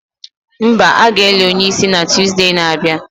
Mba, a ga-eli onye isi na Tuzdee na-abịa